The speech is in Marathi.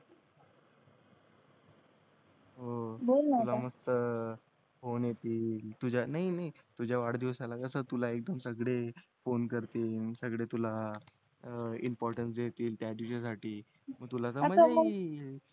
हो बोल ना आता तुला नुसतं फोन येतील तुझ्या नाय नाय तुझ्या वाढदिवसाला कसं तुला सगळे फोन करतील सगळे तुला अं इम्पॉर्टन्स देतील त्या दिवसासाठी मग तुला मज्जा येईल